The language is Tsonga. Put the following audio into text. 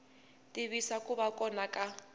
tiyisisa ku va kona ka